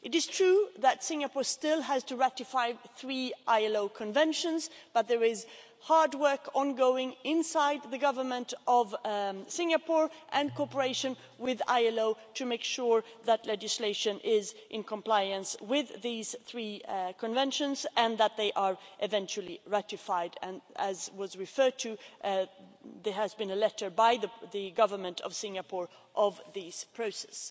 It is true that Singapore still has to ratify three ILO Conventions, but hard work is ongoing inside the Government of Singapore and cooperation with the ILO to make sure that legislation is in compliance with these three Conventions and that they are eventually ratified. As was referred to, there has been a letter from the Government of Singapore on this process.